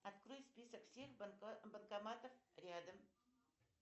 открой список всех банкоматов рядом